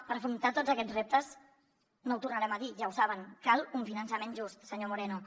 per afrontar tots aquests reptes no ho tornarem a dir ja ho saben cal un finançament just senyor moreno